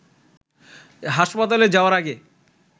হাসপাতালে যাওয়ার আগে